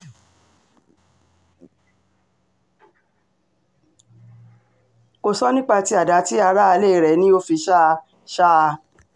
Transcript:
kò sọ nípa tí àdá ti aráalé rẹ̀ ni ó fi ṣá a ṣá a